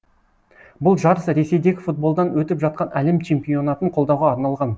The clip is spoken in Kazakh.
бұл жарыс ресейдегі футболдан өтіп жатқан әлем чемпионатын қолдауға арналған